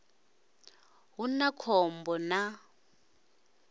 hu na khom bo na